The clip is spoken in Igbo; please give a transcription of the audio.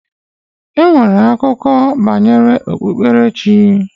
E nwere akụkọ banyere ekpemekpe.